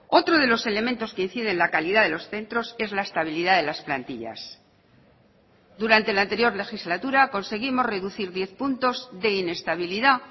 otro de los elementos que incide en la calidad de los centros es la estabilidad de las plantillas durante la anterior legislatura conseguimos reducir diez puntos de inestabilidad